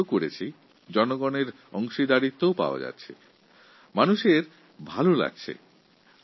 আমরা এই কাজ শুরু করেছি সাধারণ মানুষ এতে অংশগ্রহণ করছে তাঁরা এই কাজের তারিফও করছে